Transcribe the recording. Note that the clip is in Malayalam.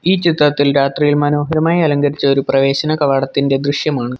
ഈ ചിത്രത്തിൽ രാത്രിയിൽ മനോഹരമായി അലങ്കരിച്ച ഒരു പ്രവേശന കവാടത്തിൻ്റെ ദൃശ്യമാണ്.